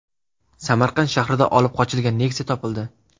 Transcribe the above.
Samarqand shahrida olib qochilgan Nexia topildi.